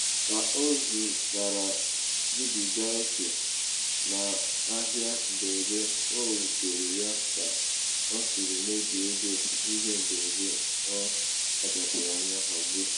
ka ọ zụchara zubiga oke n'ahịa mberede o wutere ya ka o siri mebie ego ihe mberede ọ kpachapụrụ anya hazie.